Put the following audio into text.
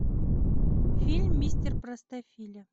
фильм мистер простофиля